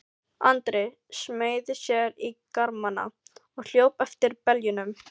Andri smeygði sér í garmana og hljóp eftir beljunum.